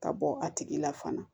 Ka bɔ a tigi la fana